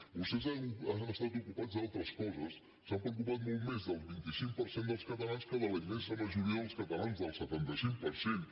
vostès han estat ocupats en altres coses s’han preocupat molt més del vint cinc per cent dels catalans que de la immensa majoria dels catalans del setanta cinc per cent